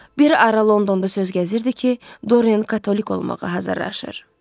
Bir ara Londonda söz gəzirdi ki, Dorian katolik olmağa hazırlaşır.